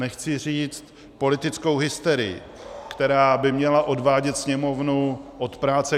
Nechci říct politickou hysterii, která by měla odvádět Sněmovnu od práce.